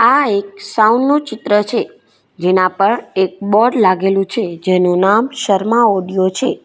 આ એક સાઉન્ડ નું ચિત્ર છે જેના પર એક બોર્ડ લાગેલું છે જેનું નામ શર્મા ઓડિયો છે.